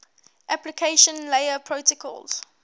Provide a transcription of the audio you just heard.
application layer protocols